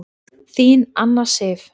Þín Anna Sif.